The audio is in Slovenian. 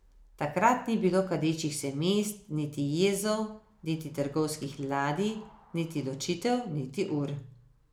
Takrat ni bilo kadečih se mest niti jezov niti trgovskih ladij niti ločitev niti ur.